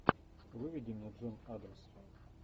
выведи мне джон адамс